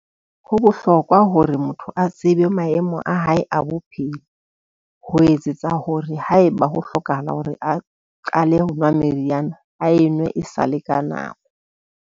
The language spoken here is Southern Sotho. Ho bohlokwa hore motho a tsebe maemo a hae a bophelo, ho etsetsa hore haeba ho hlokahala hore a qale ho nwa meriana, a e nwe e sale ka nako.